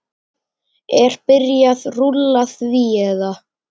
Er byrjað rúlla því eða?